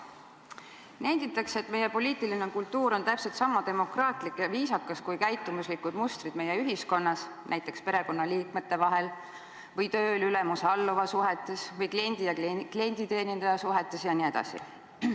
Nenditakse, et meie poliitiline kultuur on just sama demokraatlik ja viisakas, kui on käitumuslikud mustrid meie ühiskonnas, näiteks perekonnaliikmete vahel või tööl ülemuse-alluva suhetes või kliendi ja klienditeenindaja suhetes jne.